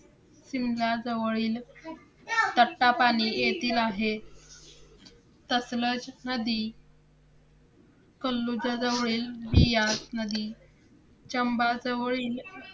त्याच प्रमाणे मिताली राज या सारख्या अनेक महिलांनी बस चालवण्या पासन ते अंतराळ विक पर्यंत सर्व आपल्या नेत्रूनी दाखवले आहे